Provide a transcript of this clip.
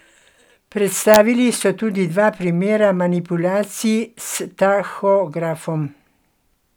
Predstavili so tudi dva primera manipulacij s tahografom.